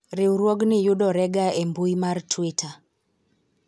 riwruogni yudore ga e mbui mar twitter